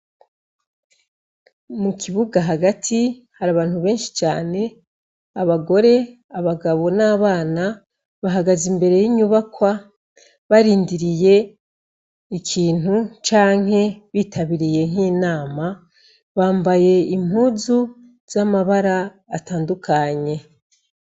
Mukibuga hagati hari abantu benshi cane abagore abagabo nabana bahagaze imbere yinyubakwa barindiriye ikintu canke bitabiriye nkinama bambaye impuzu zamabara atandukanye.